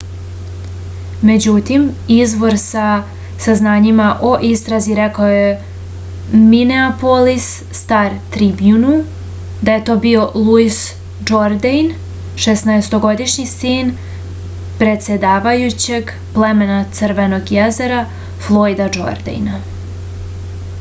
međutim izvor sa saznanjima o istrazi rekao je mineapolis star-tribjunu da je to bio luis džordejn šesnaestogodišnji sin predsedavajućeg plemena crvenog jezera flojda džordejna